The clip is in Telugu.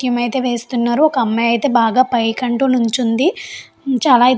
కిమైతే వేస్తున్నారు. ఒక అమ్మాయి అయితే బాగా పైకి అంటూ నిల్చుంది. చాలా --